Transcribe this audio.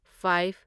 five